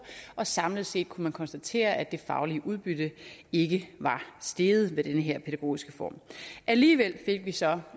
og samlet set kunne man konstatere at det faglige udbytte ikke var steget ved den her pædagogiske form alligevel fik vi så